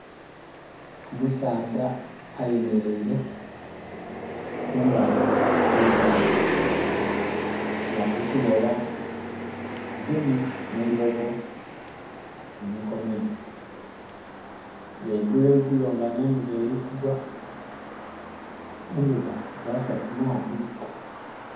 Omusaadha eyemeleire kumbali okwe nhandha nga ali kuloba agemye n'eilobo mu mikono gye. Lweigulo igulo nga ne ndhuba eli kugwa , endhuba eyase ku maadhi.